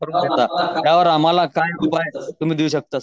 त्यावर आम्हाला तुम्ही काय उपाय देऊ शकता?